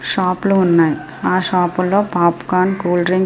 Shop లు ఉన్నాయ్. ఆహ్ షాపులో పాపకన్ కూల్డ్రింక్స్ --